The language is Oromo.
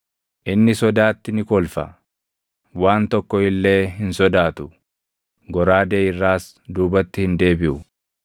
Inni sodaatti ni kolfa; waan tokko illee hin sodaatu; goraadee irraas duubatti hin deebiʼu.